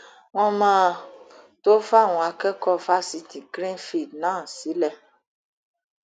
wọn máa tóó fàwọn akẹkọọ fásitì greenfield náà sílẹ